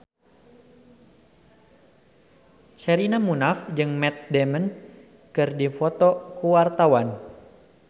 Sherina Munaf jeung Matt Damon keur dipoto ku wartawan